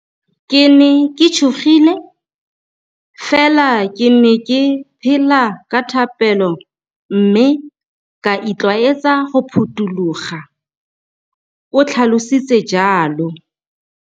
Ke ne ke tshogile, fela ke ne ke phela ka thapelo mme ka itlwaetsa go phuthologa, o tlhalositse jalo.